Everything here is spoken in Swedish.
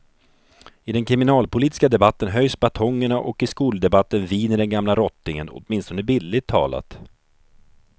I den kriminalpolitiska debatten höjs batongerna och i skoldebatten viner den gamla rottingen, åtminstone bildligt talat.